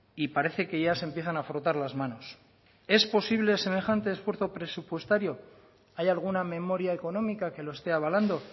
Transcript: y parece que ya se empiezan a frotar las manos es posible semejante esfuerzo presupuestario hay alguna memoria económica que lo esté avalando